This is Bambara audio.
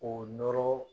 O nɔrɔ